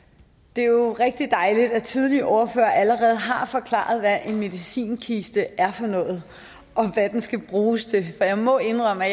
det er jo rigtig dejligt at tidligere ordførere allerede har forklaret hvad en medicinkiste er for noget og hvad den skal bruges til for jeg må indrømme at